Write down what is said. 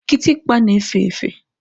Kitikpa na-efe efe.